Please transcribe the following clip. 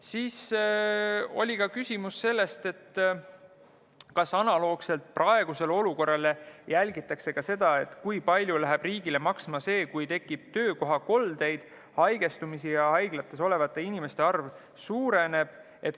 Siis oli küsimus selle kohta, kas analoogselt praeguse olukorraga jälgitakse ka seda, kui palju läheb riigile maksma see, kui tekib töökohakoldeid, haigestumisi ja haiglates olevate inimeste arv suureneb.